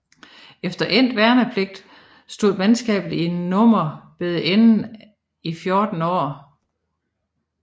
Efter endt værnepligt stod mandskabet i nummer ved enheden i 16 år